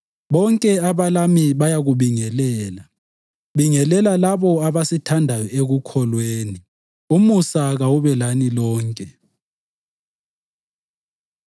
Bonke abalami bayakubingelela. Bingelela labo abasithandayo ekukholweni. Umusa kawube lani lonke.